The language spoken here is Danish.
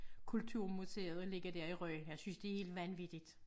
Kulturmuseet og ligge dér i Rønne jeg synes det er helt vanvittigt